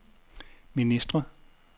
ministre